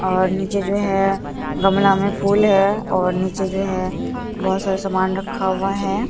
और नीचे जो है गमला में फूल है और नीचे जो है बहोत सारे समान रखा हुआ है।